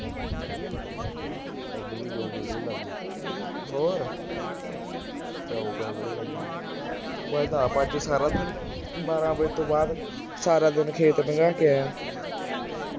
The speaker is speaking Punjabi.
ਮੈ ਤਾਂ ਆਪ ਅੱਜ ਸਾਰਾ ਦਿਨ ਬਾਰਾਂ ਵਜੇ ਤੋਂ ਬਾਅਦ ਸਾਰਾ ਦਿਨ ਖੇਤ ਲੰਘਾ ਕੇ ਆਇਆ